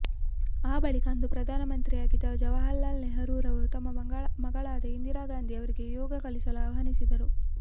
ಆ ಬಳಿಕ ಅಂದು ಭಾರತದ ಪ್ರಧಾನಿಯಾಗಿದ್ದ ಜವಾಹರಲಾಲ್ ನೆಹರೂರವರು ತಮ್ಮ ಮಗಳಾದ ಇಂದಿರಾ ಗಾಂಧಿಯವರಿಗೆ ಯೋಗ ಕಲಿಸಲು ಆಹ್ವಾನಿಸಿದರು